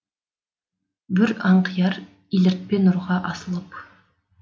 бүр аңқияр еліртпе нұрға асылып